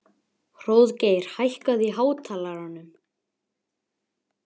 Hróðgeir, hækkaðu í hátalaranum.